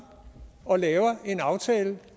og laver en aftale